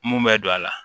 Mun bɛ don a la